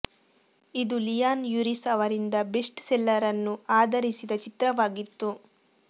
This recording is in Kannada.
ಇದು ಲಿಯಾನ್ ಯುರಿಸ್ ಅವರಿಂದ ಬೆಸ್ಟ್ ಸೆಲ್ಲರ್ ಅನ್ನು ಆಧರಿಸಿದ ಚಿತ್ರವಾಗಿತ್ತು